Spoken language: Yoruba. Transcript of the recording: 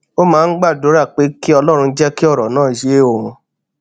ó máa ń gbàdúrà pé kí ọlórun jé kí òrò náà yé òun